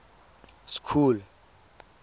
school